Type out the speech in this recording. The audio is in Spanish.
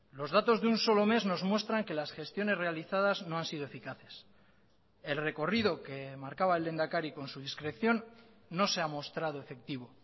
los datos de un solo mes nos muestran que las gestiones realizadas no han sido eficaces el recorrido que marcaba el lehendakari con su discreción no se ha mostrado efectivo